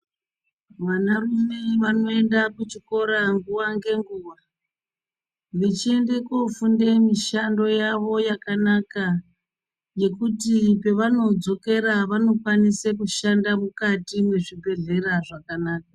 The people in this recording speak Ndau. Vanarume vanoenda kuchikora nguva ngenguva, vechienda kofunde mishando yavo yakanaka. Yekuti pavanodzokera vanokwanise kushanda mukati mwezvibhedhlera zvakanaka.